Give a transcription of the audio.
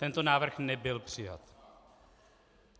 Tento návrh nebyl přijat.